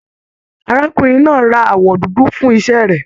Arákùnrin náà rà awọ dúdú fún iṣẹ rẹ.